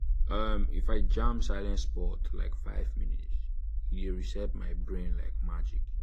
um if i jam silent spot like five minutes e um dey reset my brain like magic.